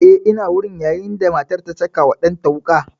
Eh ina wurin a lokacin da matar ta caka wa ɗan ta wuƙa